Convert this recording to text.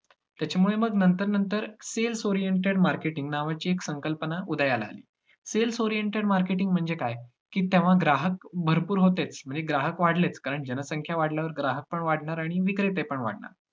त्याच्यामुळे मग नंतर नंतर sales oriented marketing नावाची एक संकल्पना उदयाला आली. sales oriented marketing म्हणजे काय, की तेव्हा ग्राहक भरपूर होतेच म्हणजे ग्राहक वाढलेच, कारण जनसंख्या वाढल्यावर ग्राहकपण वाढणार आणि विक्रेतेपण वाढणार.